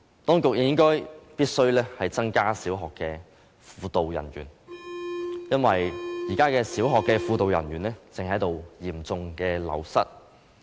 當局亦必須增加小學輔導人員，因為這些人員正嚴重流失。